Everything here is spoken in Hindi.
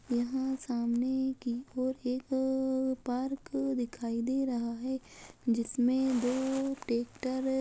यहाँ सामने की ओर एकअअ पार्क दिखाई दे रहा है जिसमे दो ट्रेक्टर --